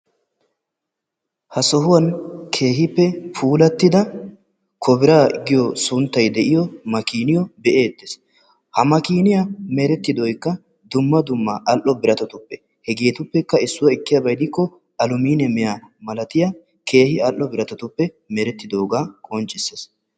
Ha sohuwan keehippe puulatidda kobira giyo sunttay diyo makiniyoo be''eettes. ha makiniyaa meretidooykka dumma dumma al''o biratattuppe. Hegetuppekka issuwa ekkiyaaba gidikko aluminiyaamiya malaltiyaa keehi al''o biratatuppe meretidooga qonccissees.